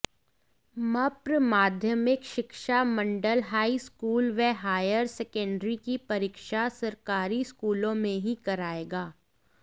मप्र माध्यमिक शिक्षा मंडल हाईस्कूल व हायर सेकंडरी की परीक्षा सरकारी स्कूलों में ही कराएगा